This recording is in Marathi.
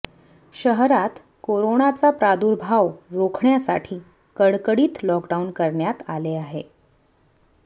शहरात कोरोनाचा प्रादुरभाव रोखण्यासाठी कडकडीत लॉक डाऊन करण्यात आले आहे